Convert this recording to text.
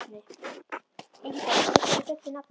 Ingibjörn, hvað heitir þú fullu nafni?